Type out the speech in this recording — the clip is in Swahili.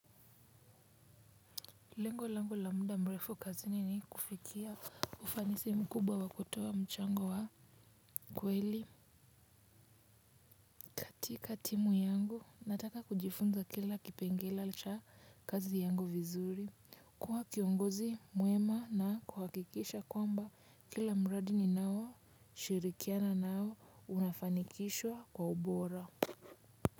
Lengo langu la muda mrefu kazi nikufikia ufanisi mkubwa wakutoa mchango wa kweli. Katika timu yangu, nataka kujifunza kila kipengela cha kazi yangu vizuri. Kuwa kiongozi mwema na kuhakikisha kwamba kila mradi ninao shirikiana nao unafanikishwa kwa ubora.